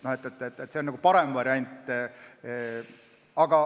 See on parem variant.